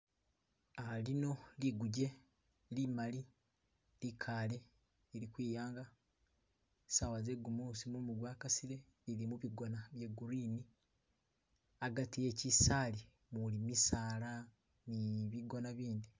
Uh lino liguje limali likaale lili ukwiyanga saawa ze'gumuusi mumu gwa kasile lili mubigoona bye green agati we'kisaali umuli misaala ne bigoona bindi.